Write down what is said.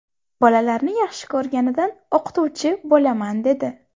Bolalarni yaxshi ko‘rganidan o‘qituvchi bo‘laman dedi.